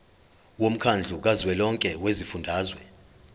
womkhandlu kazwelonke wezifundazwe